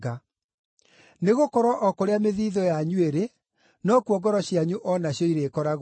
Nĩgũkorwo o kũrĩa mĩthiithũ wanyu ĩrĩ, nokuo ngoro cianyu o nacio irĩkoragwo irĩ.